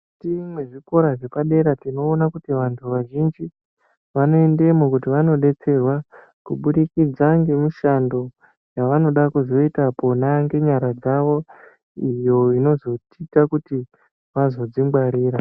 Ti mwezvikora zvepadera tinoona kuti vantu vazhinji vanoendamwo kuti vandodetserwa kubudikidza ngemishando yaanoda kuzoita pona ngenyara dzawo iyo inozoita kuti vazodzingwarira.